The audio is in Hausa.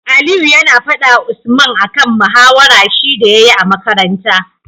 Aliyu yAna fada wa Usman akan mahawarar shi da yayi a makaranta